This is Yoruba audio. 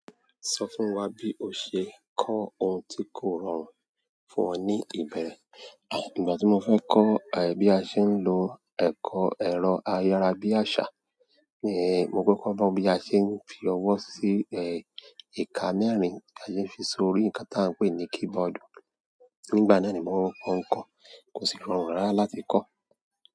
Sọ fún wa bí o ṣe ń kọ́ ohun tí kò rọrùn fún ọ ní ìbẹ̀rẹ̀. Ìgbà tí mo fẹ́ kọ́, bí a ṣe ń lo eko ẹ̀rọ ayára bí àṣá, ni mo kọ́kọ́ gbọ́ bí a ṣe ń fi ọwọ́ sí, ìka mẹ́rin ti a lè fi sórí nǹkan tí a ń pè ní keyboard. Nígbà náà ni mò ń kọ́, kò sì rọrùn rárá láti kọ́.